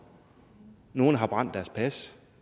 nogle har brændt deres pas